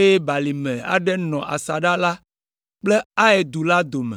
eye balime aɖe nɔ asaɖa la kple Ai du la dome.